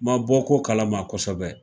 Ma bɔ ko kalama kɔsɛbɛ.